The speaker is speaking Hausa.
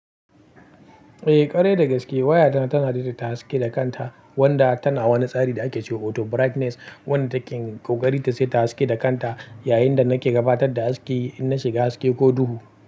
Eh, ƙwarai da gaske. Wayata tana daidaita haske da kanta wanda tana wani tsari da ake cewa auto brightness wanda taken ƙoƙari ta seta haske da kanta yayinda nake gabatar da haske in na shiga haske ko duhu.